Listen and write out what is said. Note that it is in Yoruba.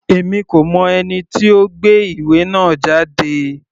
Èmi kò mọ ẹni tí ó gbé ìwé náà jáde.